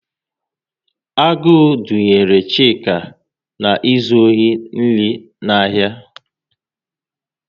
Agụụ dunyere Chike na izu ohi nri n'ahia